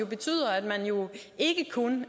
betyder at man ikke kun